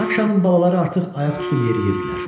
Rakşanın balaları artıq ayaq tutub yeriyirdilər.